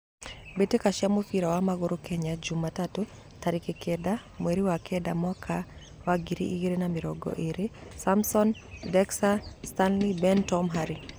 Mbitika cia mũbira wa magũrũ Kenya jumatano, tarekĩ kenda, mweri wa kenda mwaka wa ngiri igĩrĩ na mĩrongo ĩĩrĩ: Samson, Dexter, Stanley, Ben, Tom, Harĩ,